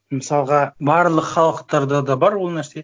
мысалға барлық халықтарда да бар ол нәрсе